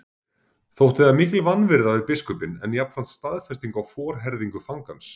Þótti það mikil vanvirða við biskupinn en jafnframt staðfesting á forherðingu fangans.